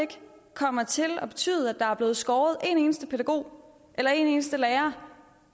kommer til at betyde at der er blevet skåret en eneste pædagog eller en eneste lærer